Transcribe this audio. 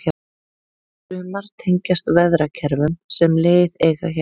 sumar tengjast veðrakerfum sem leið eiga hjá